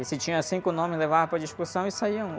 E se tinha cinco nomes, levava para discussão e saia um.